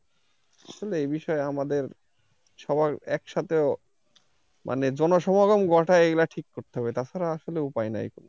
আসলে এই বিষয়ে আমাদের সবার একসাথে মানে জনসমাগম ঘটায় এগুলা ঠিক করতে হবে তাছাড়া আসলে উপায় নাই।